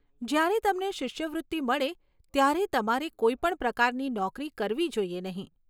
જ્યારે તમને શિષ્યવૃત્તિ મળે ત્યારે તમારે કોઈ પણ પ્રકારની નોકરી કરવી જોઈએ નહીં.